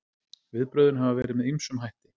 Viðbrögðin hafa verið með ýmsum hætti